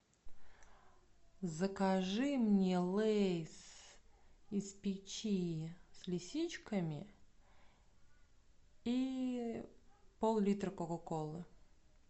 закажи мне лейс из печи с лисичками и пол литра кока колы